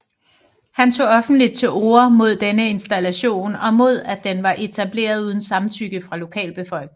Han tog offentligt til orde mod denne installation og mod at den var etableret uden samtykke fra lokalbefolkningen